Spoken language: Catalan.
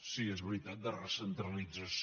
sí és veritat de recentralització